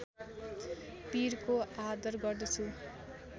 पिरको आदर गर्दछु